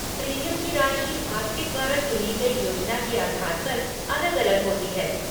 Premium की राशि आपके द्वारा चुनी गई योजना के आधार पर अलग अलग होती है।